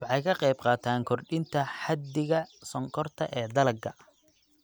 Waxay ka qaybqaataan kordhinta xaddiga sonkorta ee dalagga.